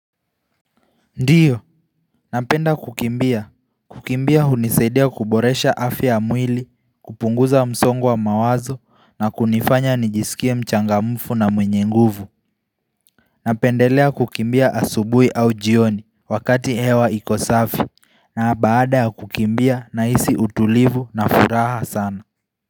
Ndiyo, napenda kukimbia, kukimbia hunisaidia kuboresha afya ya mwili, kupunguza msongo wa mawazo na kunifanya nijisikie mchangamfu na mwenye nguvu Napendelea kukimbia asubuhi au jioni wakati hewa iko safi na baada ya kukimbia nahisi utulivu na furaha sana.